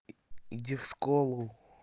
иди в школу